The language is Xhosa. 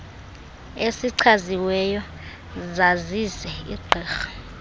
esichaziweyo sazise igqirha